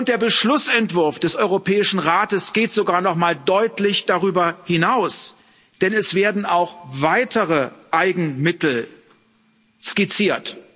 Der Beschlussentwurf des Europäischen Rates geht sogar nochmal deutlich darüber hinaus, denn es werden auch weitere Eigenmittel skizziert.